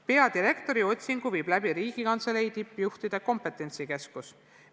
Peadirektori otsingu viib läbi Riigikantselei tippjuhtide kompetentsikeskus.